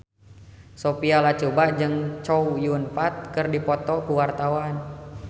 Sophia Latjuba jeung Chow Yun Fat keur dipoto ku wartawan